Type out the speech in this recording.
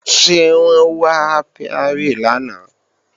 Ṣé wọ́n wá ápíárì lánàá